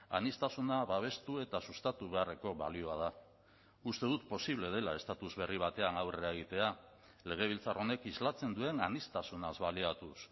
aniztasuna babestu eta sustatu beharreko balioa da uste dut posible dela estatus berri batean aurrera egitea legebiltzar honek islatzen duen aniztasunaz baliatuz